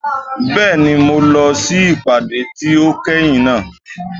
Bẹ́ẹ̀ni, mo lọ sí ìpàdé tí ó kẹ́yìn náà.